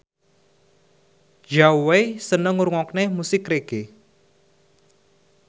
Zhao Wei seneng ngrungokne musik reggae